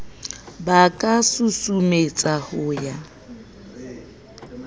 ba ka susumetswa ho ya